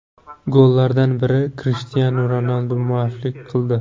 Gollardan biriga Krishtianu Ronaldu mualliflik qildi.